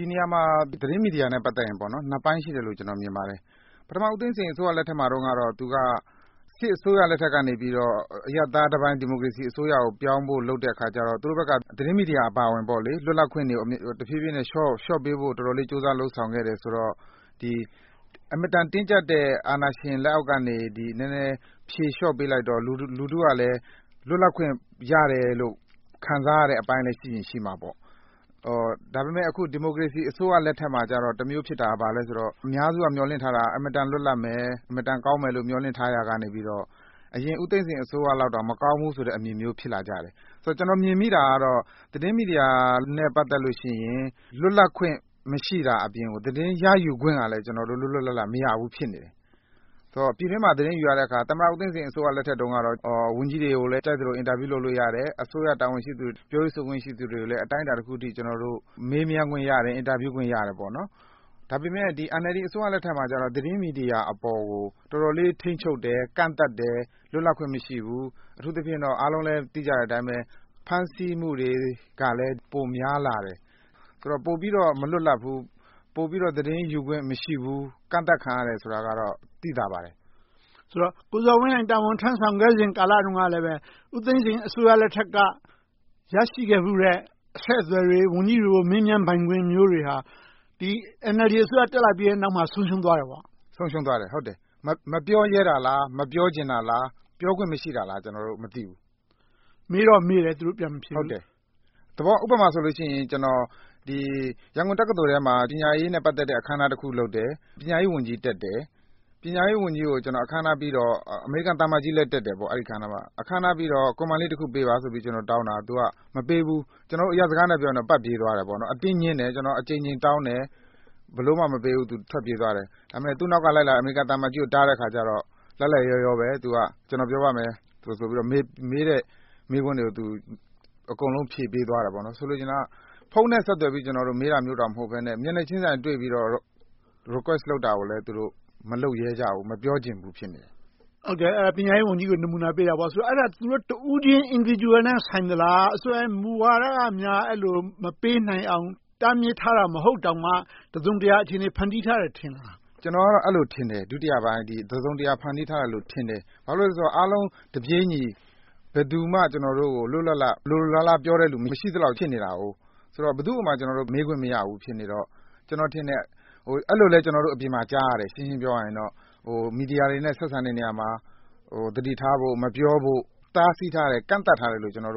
ီနေရာမှာ သတင်းမီဒီယာနဲ့ ပတ်သက်ရင် နှစ်ပိုင်းရှိတယ်လို့ မြင်ပါတယ်။ သမ္မတဦးသိန်းစိန်လက်ထက်မှာတော့ သူက စစ်အစိုးရလက်ထက်ကနေ အရပ်သားတပိုင်း ဒီမိုကရေစီအစိုးရကို ပြောင်းဖို့လုပ်တဲ့အခါကြတော့ သူတို့ဘက်က သတင်းမီဒီယာအပါအဝင် လွတ်လပ်ခွင့်တွေကို လျှော့ပေးဖို့ တော်တော်လေး ကြိုးစားလုပ်ဆောင်ခဲ့တယ်ဆိုတော့ အင်မတန် တင်းကြပ်တဲ့ အာဏာရှင်လက်အောက်ကနေ နည်းနည်းဖြေလျှော့ပေးလိုက်တော့ လူထုကလည်း လွတ်လပ်ခွင့်ရတယ်လို့ ခံစားရတယ်အပိုင်းလည်း ရှိရင်ရှိမှာပေါ့။ ဒါပေမဲ့ အခု ဒီမိုကရေစီအစိုးရလက်ထက်မှာကြတော့ တမျိုးဖြစ်တာက အများစုက မျှော်လင့်ထားတာက အင်မတန် လွတ်လပ်မယ်။ အင်မတန် ကောင်းမယ်လို့ မျှော်လင့်ထားတာကနေ အရင် ဦးသိန်းစိန်အစိုးရလောက်တောင် မကောင်းဘူးဆိုတဲ့ အမြင်မျိုး ဖြစ်လာကြတယ်။ ကျနော် မြင်မိတာကတော့ သတင်းမီဒီယာနဲ့ ပတ်သက်လို့ရှိရင် လွတ်လပ်ခွင့် မရှိတာအပြင်၊ သတင်းရယူခွင့်ကလည်း လွတ်လွတ်လပ်လပ် မရဘူးဖြစ်နေတယ်။ ပြည်တွင်းမှာ သတင်းယူတဲ့အခါ သမ္မတဦးသိန်းစိန်လက်ထက်တုန်းက ဝန်ကြီးတွေကိုလည်း ကြိုက်သလို အင်တာဗျူး လုပ်လို့ရတယ်။ အစိုးရပြောရေးဆိုခွင့် ရှိသူတွေကိုလည်း အတိုင်းအတာတခုအထိ မေးမြန်းခွင့်ရတယ်၊ အင်တာဗျူးခွင့်ရခဲ့တယ်။ ဒါပေမဲ့ NLD အစိုးရလက်ထက်မှာကြတော့ သတင်းမီဒီယာအပေါ်ကို တော်တော်လေး ထိန်းချုပ်တယ်။ ကန့်သတ်တယ်။ လွတ်လပ်ခွင့် မရှိဘူး။ အထူးသဖြင့်တော့ အားလုံးလည်း သိကြတဲ့အတိုင်းပဲ ဖမ်းဆီးမှုတွေလည်း ပိုများလာတယ်။ ပိုပြီးတော့ မလွတ်လပ်ဘူး။ ပိုပြီးတော့ သတင်းယူခွင့် မရှိဘူး။ ကန့်သတ်ခံရတယ်ဆိုတာကတော့ သိသာပါတယ်။ ဆိုတော့ ကိုဇော်ဝင်းလှိုင် တာဝန်ထမ်းဆောင်ခဲ့စဉ် ကာလတုန်းကလည်း ဦးသိန်းစိန်အစိုးရလက်ထက်က ရရှိခဲ့ဖူးတဲ့ အဆက်အသွယ်တွေ၊ ဝန်ကြီးတွေကို မေးမြန်းပိုင်ခွင့်မျိုးတွေဟာ ဒီ NLD အစိုးရ တက်လာတဲ့နောက်မှာ ဆုံးရှုံးသွားတယ်ပေါ့။ ဆုံးရှုံးသွားတယ်။ မပြောရဲတာလား။ မပြောချင်တာလား။ ပြောခွင့်မရှိတာလား ကျနော်တို့ မသိဘူး။ မေးတော့မေးတယ် သူတို့ ပြန်မဖြေဘူး။ ဟုတ်တယ်။ ဥပမာဆိုရင် ကျနော် ရန်ကုန်တက္ကသိုလ်ထဲမှာ ပညာရေးနဲ့ ပတ်သက်တဲ့ အခမ်းအနားတခု လုပ်တယ်။ ပညာရေးဝန်ကြီးတက်တယ်။ အမေရိကန်သံအမတ်ကြီးလည်း တက်တယ်။ ပညာရေးဝန်ကြီးကို အခမ်းအနားပြီးတော့ Comment လေးတခုပေးပါဆိုပြီး တောင်းတာ သူက မပေးဘူး။ အရပ်စကားနဲ့ ပြောမယ်ဆိုရင်တော့ ပတ်ပြေးသွားတယ်။ အတင်းငြင်းတယ်။ ကျနော် အကြိမ်ကြိမ်တောင်းတယ်။ ဘယ်လိုမှ မပေးဘူး ထွက်ပြေးသွားတယ်။ သူ့နောက်က လိုက်လာတဲ့ အမေရိကန်သံအမတ်ကြီး မေးတဲ့အခါကြတော့ လိုက်လိုက်လျောလျောပဲ ကျနော်ပြောပါမယ်ဆိုပြီးတော့ မေးတဲ့မေးခွန်းတွေကို အကုန်လုံး ဖြေပေးသွားတယ်။ ဆိုလိုချင်တာက ဖုန်းတဲ့ဆက်သွယ်ပြီး မေးတာမျိုးတောင် မဟုတ်ဘဲနဲ့ မျက်နှာချင်းတွေ့ပြီးတော့ ခွင့်တောင်းတာကို သူတို့ မလုပ်ရဲကြဘူး။ မပြောချင်ဘူး ဖြစ်နေကြတယ်။ ပညာရေးဝန်ကြီးကို နမူနာပေးတာပေါ့။ ဆိုတော့ အဲဒါ သူတို့တဦးချင်း Individual နဲ့ ဆိုင်သလား။ အစိုးရရဲ့ မူဝါဒကများ အဲဒီလို မပေးနိုင်အောင် တားမြစ်ထားတာ မဟုတ်တောင်မှ တစုံတရာ အခြေအနေ ဖန်တီးထားတယ် ထင်သလား။ ကျနော်ကတော့ တစုံတရာ ဖန်တီးထားတယ်လို့ ထင်တယ်။ ဘာဖြစ်လို့လဲဆိုတော့ အားလုံးတပြေညီ ဘယ်သူကမှ ကျနော်တို့ကို လိုလိုလားလား ပြောတယ်လူ မရှိသလောက် ဖြစ်နေတာ။ ဘယ်သူကိုမှ ကျနော်တို့ မေးခွင့်မရဘူး ဖြစ်နေတော့ ကျနော်ထင်တယ် အဲဒီလိုမျိုးလည်း အပြင်မှာ ကြားနေရတယ် မီဒီယာတွေနဲ့ ဆက်ဆံတဲ့နေရာမှာ သတိထားဖို့၊ မပြောဖို့၊ တားဆီးထားတယ်၊ ကန့်သတ်ထားတယ်လို့ ကြားနေရ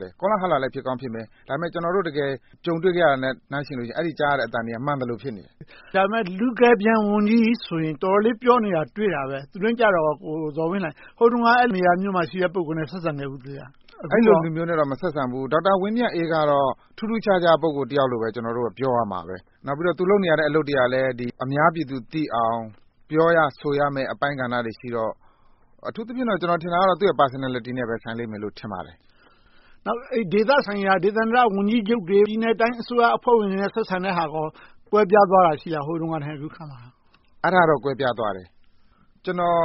တယ်။ ကောလာဟလလည်း ဖြစ်ကောင်းဖြစ်မယ်။ ဒါပေမဲ့ ကျနော်တို့ ကြုံတွေ့ခဲ့ရတာနဲ့ နှိုင်းယှဉ်လိုက်ရင် အဲဒီကြားရတဲ့အသံတွေက မှန်သလိုဖြစ်နေတယ်။ ဒါပေမဲ့ လူကယ်ပြန်ဝန်ကြီးဆိုရင် တော်တော်လေး ပြောနေတာ တွေ့ရတယ်။ သူနဲ့ကြတော့ကော။ ဟိုတုန်းက အဲဒီလိုနေရာမျိုး ရှိခဲ့တဲ့ ပုဂ္ဂိုလ်နဲ့ ဆက်ဆံခဲ့ဖူးသလား။ အဲဒီလိုလူမျိုးနဲ့တော့ မဆက်ဆံခဲ့ဖူးဘူး။ ဒေါက်တာဝင်းမြတ်အေးကတော့ ထူးထူးခြားခြား ပုဂ္ဂိုလ်တယောက်လို့ပဲ ပြောရလိမ့်မယ်။ နောက်ပြီးတော့ သူလုပ်နေတဲ့ အလုပ်တွေကလည်း အများပြည်သူသိအောင်၊ ပြောရဆိုရမယ့် အပိုင်းကဏ္ဍတွေရှိတော့ အထူးသဖြင့်တော့ သူ့ရဲ့ Personality နဲ့ပဲ ဆိုင်လိမ့်မယ်လို့ ထင်ပါတယ်။ ဒေသဆိုင်ရာ ဒေသန္တရဝန်ကြီးချုပ်တွေ၊ ပြည်နယ်နဲ့တိုင်း အစိုးရဝင်တွေနဲ့ ဆက်ဆံတဲ့ဟာတွေ ကွဲပြားသွားတာရှိလား။ ဟိုတုန်းကနဲ့ အခုအခါ။ အဲဒါတော့ ကွဲပြားသွားတယ်။ ကျနော်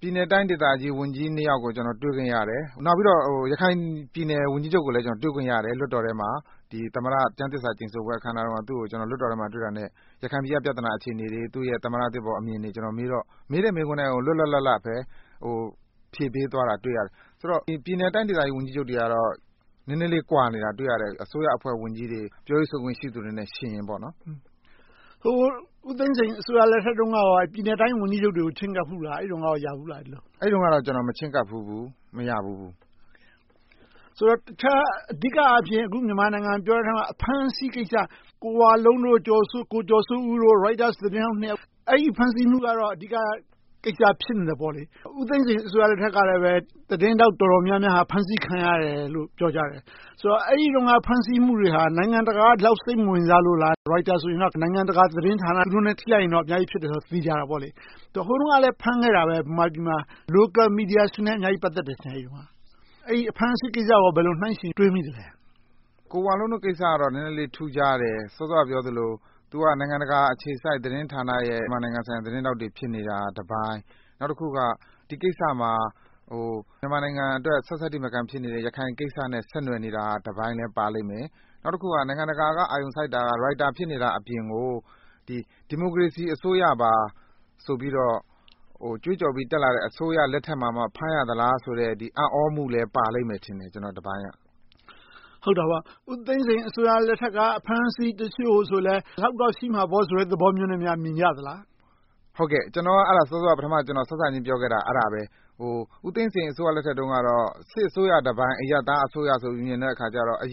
ပြည်နယ်နဲ့တိုင်းဝန်ကြီး နှစ်ယောက်ကို တွေ့ခွင့်ရတယ်။ နောက်ပြီးတော့ ရခိုင်ပြည်နယ်ဝန်ကြီးချုပ်ကိုလည်း လွှတ်တော်ထဲမှာ တွေ့ခွင့်ရတယ်။ သမ္မတကျမ်းသစ္စာကျိန်ဆိုပွဲ အခမ်းအနားတုန်းက သူကို လွှတ်တော်ထဲမှာ တွေ့တာနဲ့ ရခိုင်ပြည်ကအခြေအနေ၊ သူ့ရဲ့သမ္မတအသစ်ပေါ် အမြင်တွေကိုမေးတော့ မေးတဲ့မေးခွန်းတွေကို လွတ်လွတ်လပ်လပ်ပဲ ဖြေပေးသွားတာကို တွေ့ရတယ်။ ဆိုတော့ ပြည်နယ်နဲ့တိုင်းဒေသ ဝန်ကြီးချုပ်တွေကတော့ နည်းနည်းလေး ကွာနေတာကို တွေ့ရတယ်။ အစိုးရအဖွဲ့ဝန်ကြီးတွေ၊ ပြောရေးဆိုခွင့် ရှိသူတွေနဲ့ ယှဉ်ရင်ပေါ့။ ဦးသိန်းစိန်အစိုးရလက်ထက်တုန်းကရော ပြည်နယ်နဲ့တိုင်း ဝန်ကြီးချုပ်တွေကို ချဉ်းကပ်ဖူးလား။ အဲဒီတုန်းကရော ရဖူးလား။ အဲဒီတုန်းကတော့ ကျနော် မချဉ်းကပ်ဖူးဘူး။ မရဖူးဘူး။ ဆိုတော့ တခြားအဓိကအားဖြင့် မြန်မာနိုင်ငံအကြောင်း ပြောတဲ့အထဲမှာ အဖမ်းအဆီးကိစ္စ - ကိုဝလုံး၊ ကိုကျော်စိုးဦးတို့ Reuters သတင်းထောက်တွေကို ဖမ်းဆီးမှုကတော့ အဓိကကိစ္စ ဖြစ်နေတယ်။ ဦးသိန်းစိန်လက်ထက်တုန်းကလည်း သတင်းထောက် တော်တော်များများ ဖမ်းဆီးခံရတယ်လို့ ပြောကြတယ်။ အဲဒီတုန်းက ဖမ်းဆီးမှုတွေဟာ နိုင်ငံတကာက ဒီလောက်စိတ်မဝင်စားလို့လား။ ရိုက်တာဆိုရင် နိုင်ငံတကာသတင်းဌာန သူတို့နဲ့ ထိလိုက်ရင်တော့ အများကြီးဖြစ်မယ်ဆိုတာတော့ သေချာတာပေါ့။ ဟိုတုန်းကလဲ ဖမ်းခဲ့တာပဲ အဲဒီတုန်းက Local Media တွေနဲ့ အများကြီး ပတ်သက်တယ်ထင်တယ်။ အဲဒီအဖမ်းအဆီးကိစ္စကို ဘယ်လို နှိုင်းယှဉ်တွေးမိသလဲ။ ကိုဝလုံးတို့ကိစ္စကတော့ နည်းနည်းလေး ထူးခြားတယ်။ စောစောကပြောသလို သူတို့က နိုင်ငံတကာအခြေစိုက် သတင်းဌာနရဲ့ မြန်မာနိုင်ငံသတင်းထောက်တွေ ဖြစ်နေတာတပိုင်း၊ နောက်တခုက ဒီကိစ္စမှာ မြန်မာနိုင်ငံအတွက် ဆတ်ဆတ်ထိမခံ ဖြစ်နေတဲ့ ရခိုင်ကိစ္စနဲ့ ဆက်နွှယ်နေတာတပိုင်းလည်း ပါလိမ့်မယ်။ နောက်တခုက နိုင်ငံတကာက အာရုံစိုက်တာက Reuters ဖြစ်နေတာအပြင်ကို ဒီမိုကရေစီအစိုးရပါ ဆိုပြီးတော့ ကြွေးကြော်ပြီး တက်လာတဲ့ အစိုးရလက်ထက်မှာ ဖမ်းရသလားဆိုတဲ့ အံ့သြမှုလည်း ပါလိမ့်မယ်ထင်တယ် ကျန်တဲ့တပိုင်းက။ ဦးသိန်းစိန်လက်ထက်က အဖမ်းအဆီးတချို့လဲ ဒီလောက်တော့ ရှိမှာပေါ့ဆိုတဲ့ အမြင်မျိုးနဲ့ မြင်ကြသလား။ ဟုတ်ကဲ့ ကျနော်က စောစောက ပထမပြောခဲ့တာ အဲဒါပဲ - ဦးသိန်းစိန်အစိုးရတုန်းကတော့ စစ်အစိုးရတပိုင်း၊ အရပ်သားအစိုးရဆိုပြီး မြင်တဲ့အခါကြတော့ သူ့အ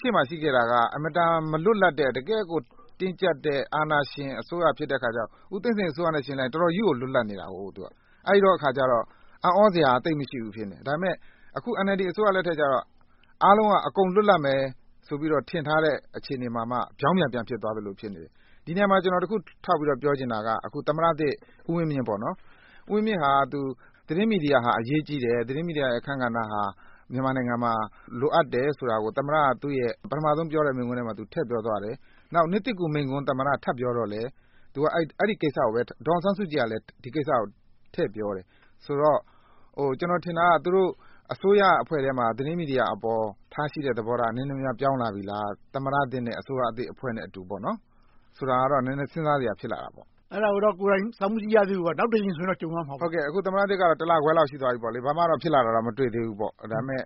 ရှေ့မှာ ရှိခဲ့တာတော့ အင်မတန် မလွတ်လပ်တဲ့ တကယ့်ကို တင်းကြပ်တဲ့ အာဏာရှင်အစိုးရဖြစ်နေတော့ ဦးသိန်းစိန်အစိုးရနဲ့ ယှဉ်လိုက်ရင် တော်တော်ကြီးကို လွတ်လပ်နေခဲ့တယ်။ အဲဒီအခါကြတော့ အံ့သြစရာ သိပ်မရှိဘူး ဖြစ်နေတယ်။ ဒါပေမဲ့ အခု NLD အစိုးရလက်ထက်ကြတော့ အားလုံးက အကုန်လွတ်လပ်မယ်လို့ ထင်ထားတဲ့ အခြေအနေမှာ ပြောင်ပြန်ပြန်ဖြစ်သွားသလို ဖြစ်နေတယ်။ ဒီနေရာမှာ ကျနော် တခုထောက်ပြောချင်တာက သမ္မတသစ် ဦးဝင်းမြင့်က သတင်းမီဒီယာဟာ အရေးကြီးတယ်။ သတင်းမီဒီယာရဲ့ အခန်းကဏ္ဍဟာ မြန်မာနိုင်ငံမှာ လိုအပ်တယ်ဆိုတာကို သမ္မတက သူ့ရဲ့ ပထမဦးဆုံးပြောတဲ့ မိန့်ခွန်းမှာ ထည့်ပြောသွားတယ်။ နောက် နှစ်သစ်ကူးမိန့်ခွန်း ထပ်ပြောတော့လည်း သူက အဲဒီကိစ္စကိုပဲ၊ ဒေါ်အောင်ဆန်းစုကြည်ကလည်း ဒီကိစ္စကို ထည့်ပြောတယ်။ ဆိုတော့ ကျနော်ထင်တာက သူတို့ အစိုးရအဖွဲ့ထဲမှာ သတင်းမီဒီယာအပေါ် ထားရှိတဲ့သဘောထား နည်းနည်းများ ပြောင်းလာပြီလား။ သမ္မတသစ်နဲ့ အစိုးရသစ်အဖွဲ့နဲ့အတူ ဆိုတာကတော့ နည်းနည်းစဉ်းစားစရာ ဖြစ်လာတယ်။ အဲဒါကိုတော့ ကိုယ်တိုင်စောင့်မကြည့်ရသေးဘူးပေါ့။ နောက်တကြိမ်ဆိုရင်တော့ ကြုံရမှာပေါ့။ ဟုတ်ကဲ့ သမ္မတသစ်ကတော့ တစ်လခွဲလောက်တော့ ရှိသွားပြီ။ ဘာမှတော့ ဖြစ်လာတာ မတွေ့သေးဘူး။ ဒါပေမဲ့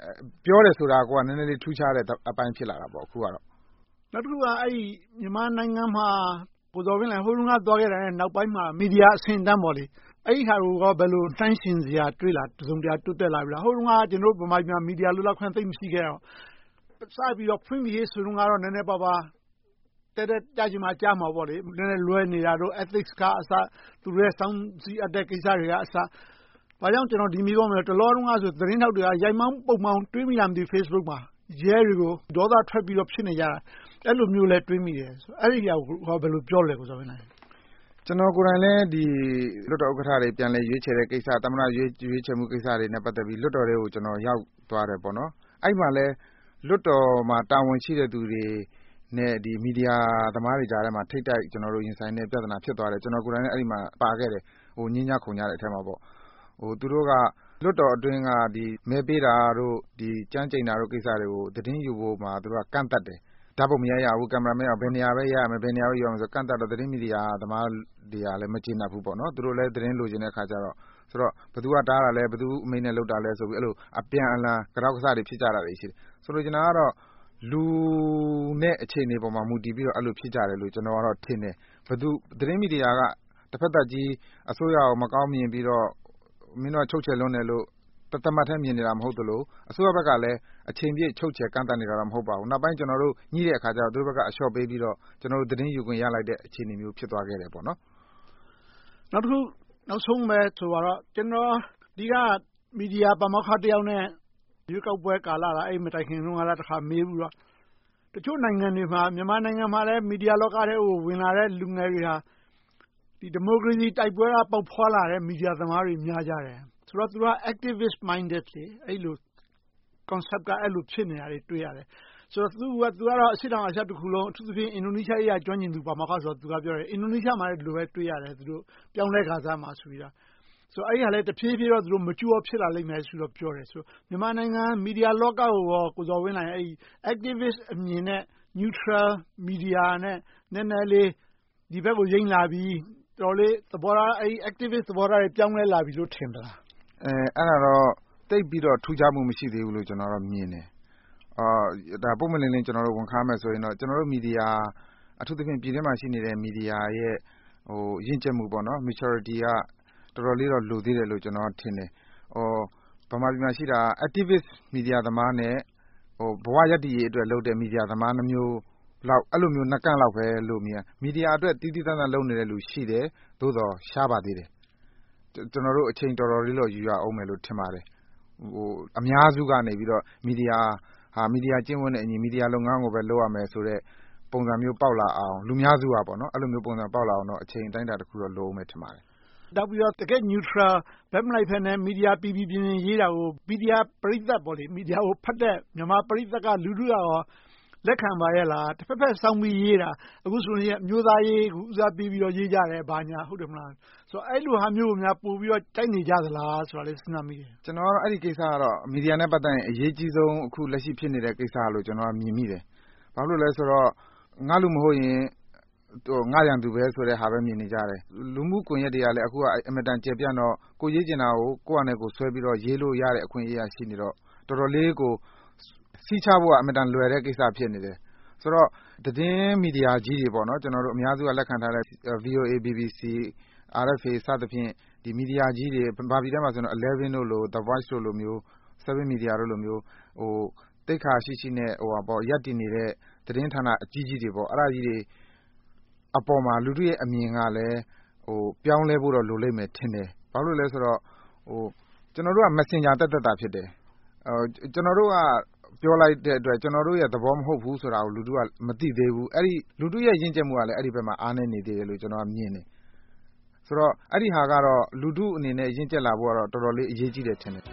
ပြောတယ်ဆိုတာကိုက နည်းနည်းလေး ထူးခြားတဲ့အပိုင်း ဖြစ်လာတာပေါ့။ နောက်တခုက မြန်မာနိုင်ငံမှာ ဟိုတုန်းကသွားခဲ့တဲ့ နောက်ပိုင်းမှာ မီဒီယာအဆင့်အတန်း အဲဒီဟာကိုကော ဘယ်လိုနှိုင်းယှဉ်စရာ တွေ့ရပြီး တစုံတရာ တိုးတက်လာပြီလား။ ဟိုတုန်းက ဗမာပြည်မှာ မီဒီယာ လွတ်လပ်ခွင့် သိပ်မရှိခဲ့တော့ စပြီးတော့ ဖွင့်ပြီဆိုတုန်းကတော့ နည်းနည်းပါးပါး တည့်တည့်ကျခြင်းမှ ကျမှာပေါ့ နည်းနည်းလွဲနေတာတို့ Ethics က အစ၊ စောင့်ကြည့်ရတဲ့ကိစ္စတွေအစ - ဘာကြောင့် ဒီမေးခွန်းကို မေးရသလဲဆိုရင် တလောတုန်းက Facebook မှာ တွေ့မိသလား မသိဘူး - သတင်းထောက်တွေက ရိုက်မောင်းပုတ်မောင်း ရဲတွေကို ဒေါသထွက်ပြီး ဖြစ်နေကြတာ။ အဲဒီလိုမျိုးလဲ တွေ့မိတယ်။ အဲဒါကို ဘယ်လိုပြောမလဲ။ ကျနော်ကိုယ်တိုင်လည်း လွှတ်တော်ဥက္ကဋ္ဌတွေ ပြန်လည်ရွေးချယ်တဲ့ကိစ္စ၊ သမ္မတ ရွေးချယ်တဲ့ကိစ္စတွေနဲ့ ပတ်သက်ပြီး လွှတ်တော်ထဲကို ရောက်သွားခဲ့တယ်။ အဲဒီမှာလဲ လွှတ်တော်မှာ တာဝန်ရှိတဲ့သူတွေနဲ့ မီဒီယာသမားတွေကြားထဲမှာ ထိပ်တိုက်ရင်ဆိုင်ရတဲ့ ပြဿနာ ဖြစ်သွားတယ်။ ကျနော်ကိုယ်တိုင်လည်း အဲဒီမှာ ပါခဲ့တယ်။ ငြင်းကြခုန်ကြတဲ့အထဲမှာ။ သူတို့က လွှတ်တော်အတွင်းက မဲပေးတာတို့၊ ကျမ်းကျိန်တာတို့ကို သတင်းယူဖို့ကိစ္စမှာ ကန့်သတ်တယ်။ ဓါတ်ပုံမရိုက်ရဘူး။ ကင်မရာ မရဘူး။ ဘယ်နေရာပဲရမယ်။ ဘယ်နေရာမှာပဲ ရှိရမယ်ဆိုပြီး ကန့်သတ်လို့ သတင်းမီဒီယာသမားတွေလည်း မကျေနပ်ကြဘူး။ သူတို့လည်း သတင်းလိုချင်တဲ့အခါကြတော့ ဘယ်သူက တားတာလဲ။ ဘယ်သူ့အမိန့်နဲ့ လုပ်တာလဲဆိုပြီးတော့ အပြန်အလှန် ကတောက်ကဆတွေ ဖြစ်ကြတာတွေရှိတယ်။ ဆိုလိုချင်တာကတော့ လူနဲ့အခြေအနေပေါ် မူတည်ပြီးတော့ အဲဒီလို ဖြစ်ကြတယ်လို့ ကျနော်ထင်တယ်။ သတင်းမီဒီယာက တဘက်သတ်ကြီး အစိုးရကို မကောင်းမြင်ပြီးတော့ မင်းတို့က ချုပ်ချယ်လွန်တယ်လို့ တသမတ်တည်း မြင်နေတာ မဟုတ်သလို၊ အစိုးရဘက်ကလည်း အချိန်ပြည့် ချုပ်ချယ်ကန့်သတ်နေတာတော့ မဟုတ်ပါဘူး။ နောက်ပိုင်း ကျနော်တို့ ညှိတဲ့အခါကြတော့ သူတို့ဘက်က လျှော့ပေးပြီးတော့ သတင်းယူခွင့်ရလိုက်တဲ့ အခြေအနေ ဖြစ်သွားခဲ့တယ်။ နောက်တခု နောက်ဆုံးပဲ ဆိုပါတော့ ကျနော် ဒီက မီဒီယာပါမောက္ခတယောက်နဲ့ ရွေးကောက်ပွဲကာလနဲ့ အဲဒီမတိုင်ခင်က မေးခဲ့ဖူးတယ်။ တချို့နိုင်ငံတွေမှာ မြန်မာနိုင်ငံမှာလည်း မီဒီယာလောကထဲကို ဝင်လာတဲ့ လူငယ်တွေဟာ ဒီမိုကရေစီ တိုက်ပွဲက ပေါက်ဖွားလာခဲ့တဲ့ မီဒီယာသမားတွေ များကြတယ်။ ဆိုတော့ သူတို့က Activist minded ဖြစ်နေကြတယ်။ Concept က အဲဒီလို ဖြစ်နေတယ်။ သူကတော့ အရှေ့တောင်အာရှတခုလုံး အထူးသဖြင့် အင်ဒိုနီးရှားနိုင်ငံရေးရာ ကျွမ်းကျင်သူပါမောက္ခ ဖြစ်တယ်။ အင်ဒိုနီးရှားမှာလည်း ဒီလိုပဲ ပြောင်းလဲလာခါစမှာ တွေ့ရတယ်လို့ ပြောတယ်။ အဲဒီဟာလဲ တဖြည်းဖြည်းနဲ့ Mature ဖြစ်လာလိမ့်မယ်လို့ ပြောတယ်။ ဆိုတော့ မြန်မာနိုင်ငံ မီဒီယာလောကကိုရော ကိုဇော်ဝင်းလှိုင်အနေနဲ့ Activist အမြင်နဲ့ Neutral Media နဲ့ နည်းနည်းလေး ဒီဘက်ကို ယိမ်းလာပြီ၊ တော်တော်လေး အဲဒီ Activist သဘောထားတွေ ပြောင်းလဲလာပြီလို့ ထင်သလား။ အဲဒါကတော့ သိပ်ပြီးတော့ ထူးခြားမှု မရှိသေးဘူးလို့ မြင်တယ်။ ပွင့်ပွင့်လင်းလင်း ကျနော်တို့ ဝန်ခံရမယ်ဆိုရင်တော့ ကျနော်တို့ မီဒီယာ အထူးသဖြင့် ပြည်တွင်းမှာရှိတဲ့ မီဒီယာတွေရဲ့ ရင့်ကျက်မှု Maturity က တော်တော်လေး လိုသေးတယ်လို့ ကျနော်ထင်တယ်။ ဗမာပြည်မှာရှိတာက Activist Media သမားနဲ့ ဘဝရပ်တည်ရေးအတွက်လုပ်တဲ့ မီဒီယာသမား နှစ်မျိုးနှစ်ကန့်လောက်ပဲ မြင်ရတယ်။ မီဒီယာအတွက် သီးသီးသန်သန့် လုပ်နေတဲ့လူတွေရှိတယ်။ သို့သော် ရှားပါသေးတယ်။ ကျနော်တို့ အချိန်တော်တော်လေးတော့ ယူရအုံးမယ် ထင်ပါတယ်။ အများစုကနေ မီဒီယာဟာ မီဒီယာကျင့်ဝတ်နဲ့အညီ မီဒီယာလုပ်ငန်းကိုပဲ လုပ်ရမယ်ဆိုတဲ့ ပုံစံမျိုးပေါက်လာအောင် လူအများစုက အဲဒီလိုပုံစံမျိုး ပေါက်လာအောင် အချိန်အတိုင်းအတာတခုတော့ လိုအုံးမယ် ထင်ပါတယ်။ နောက်ပြီးတော့ တကယ့် Neutral ဘက်မလိုက်ဘဲနဲ့ မီဒီယာ ပီပီပြင်ပြင် ရေးတာကို မီဒီယာပရိသတ် ဖတ်တဲ့ပရိသတ် မြန်မာလူထုကရော လက်ခံပါရဲ့လား။ တဘက်ဘက်စောင်းပြီးရေးတာ အခုဆိုရင် အမျိုးသားရေး ဦးစားပေးပြီးတော့ ရေးကြတယ်။ အဲဒီလိုဟာမျိုးကို ပိုပြီးတော့ ကြိုက်နေကြသလားဆိုတာလည်း စဉ်းစားမိတယ်။ ကျနော်ကတော့ မီဒီယာနဲ့ ပတ်သက်ရင် အရေးကြီးဆုံး အခုလက်ရှိဖြစ်နေတဲ့ ကိစ္စလို့ မြင်မိတယ်။ ဘာဖြစ်လို့လဲဆိုတော့ ငါလူ မဟုတ်ရင် ငါရန်သူပဲလို့ မြင်နေကြတယ်။ လူမှုကွန်ရက်တွေကလည်း အင်မတန်ကျယ်ပြန့်တော့ ကိုယ်ရေးချင်တာကို ကိုယ့်ဘာသာဆွဲပြီးတော့ ရေးလို့ရတဲ့ အခွင့်အရေးက ရှိနေတော့ တော်တော်လေးကို စည်းခြားဖို့က အင်မတန် လွယ်တဲ့ကိစ္စ ဖြစ်နေတယ်။ ဆိုတော့ သတင်းမီဒီယာကြီးတွေ အများစုက လက်ခံထားတဲ့ VOA, BBC, RFA စသဖြင့် မီဒီယာကြီးတွေ ဗမာပြည်ထဲမှာ Eleven, the Voice, Seven Media တို့လိုမျိုး သိက္ခာရှိရှိနဲ့ ရပ်တည်နေတဲ့ သတင်းဌာနအကြီးကြီးတွေ အဲဒီအပေါ်မှာ လူထုရဲ့အမြင်ကလည်း ပြောင်းလဲဖို့တော့ လိုလိမ့်မယ်ထင်တယ်။ ဘာဖြစ်လို့လဲဆိုတော့ ကျနော်တို့က Messenger သက်သက်သာ ဖြစ်တယ်။ ကျနော်တို့က ပြောလိုက်တဲ့အတွက် ကျနော်တို့ရဲ့ သဘောမဟုတ်ဘူးဆိုတာကို လူထုက မသိသေးဘူး။ လူထုရဲ့ ရင့်ကြတ်မှုကလည်း အဲဒီဘက်မှာ အားနည်းနေသေးတယ်လို့ ကျနော်မြင်တယ်။ ဆိုတော့ အဲဒီဟာကတော့ လူထုအနေနဲ့ ရင့်ကြတ်လာဖို့တော့ တော်တော်လေး အရေးကြီးတယ်လို့ထင်တယ်။